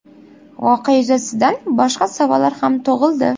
Voqea yuzasidan boshqa savollar ham tug‘ildi.